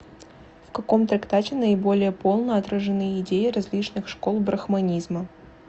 в каком трактате наиболее полно отражены идеи различных школ брахманизма